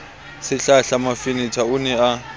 sehlahla mafenetha o ne a